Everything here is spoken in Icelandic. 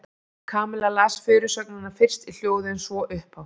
Kamilla las fyrirsögnina fyrst í hljóði en svo upphátt.